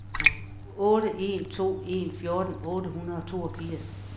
otte en to en fjorten otte hundrede og toogfirs